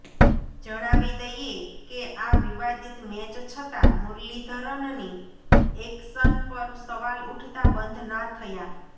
જણાવી દઈએ કે આ વિવાદિત મેચ છતાં મુરલીધરનની એક્શન પર સવાલ ઉઠતા બંધ ના થયા